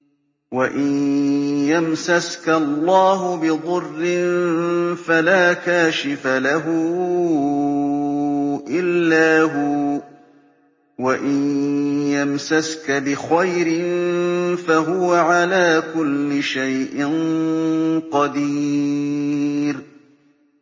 وَإِن يَمْسَسْكَ اللَّهُ بِضُرٍّ فَلَا كَاشِفَ لَهُ إِلَّا هُوَ ۖ وَإِن يَمْسَسْكَ بِخَيْرٍ فَهُوَ عَلَىٰ كُلِّ شَيْءٍ قَدِيرٌ